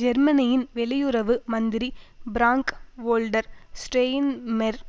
ஜெர்மனியின் வெளியுறவு மந்திரி பிராங்க் வோல்டர் ஸ்ரெய்ன்மெர்